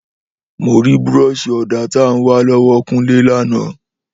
Mórì búrọsi òdá tàn wà lọwọ kunle làná